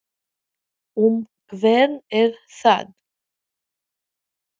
Hverju hefur hann breytt hjá félaginu?